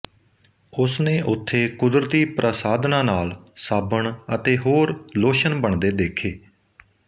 ਉਸਨੇ ਉਥੇ ਕੁਦਰਤੀ ਪ੍ਰਸਾਧਨਾ ਨਾਲ ਸਾਬਣ ਅਤੇ ਹੋਰ ਲੋਸ਼ਨ ਬਣਦੇ ਦੇਖੇ